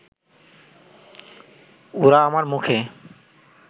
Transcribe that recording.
ওরা আমার মুখে